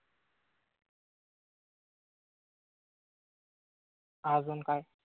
अजून काय?